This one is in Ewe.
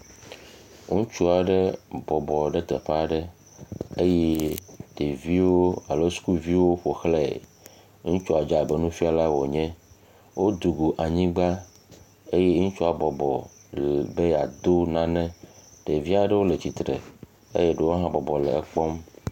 Ŋutsu aeye ɖeviwo alo ɖe bɔbɔ ɖe teƒe aɖe eye ɖeviwo alo skuulviwo ƒoxlãe. Ŋutsua dzé abe nufialae wònye. Wodzobo anyigba eye ŋutsua bɔbɔ be yeado nane. Ɖevi aɖewo le tsitre eye ɖewo hã bɔbɔ le ekpɔm.